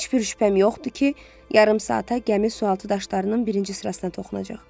Heç bir şübhəm yoxdur ki, yarım saata gəmi sualtı daşlarının birinci sırasına toxunacaq.